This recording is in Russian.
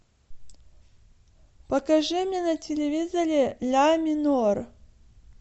покажи мне на телевизоре ля минор